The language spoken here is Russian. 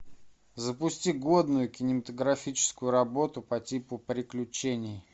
запусти годную кинематографическую работу по типу приключений